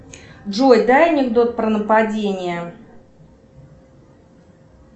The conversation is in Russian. джой дай анекдот про нападение